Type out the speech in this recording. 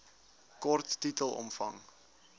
kort titel omvang